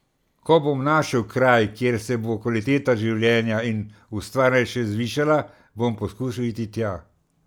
Ko bom našel kraj, kjer se bo kvaliteta življenja in ustvarjanja še zvišala, bom poizkusil iti tja.